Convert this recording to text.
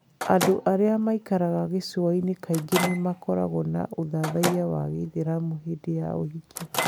Andũ arĩa maikaraga gĩcũa-inĩ kaingĩ nĩ makoragwo na ũthathaiya wa Gĩithĩramu hĩndĩ ya ũhiki.